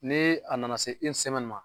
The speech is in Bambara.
Nee a nana se ma